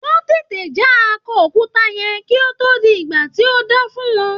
Wón tètè já akọ òkúta yẹn kí ó tó di ìgbà tí a dá fún wọn.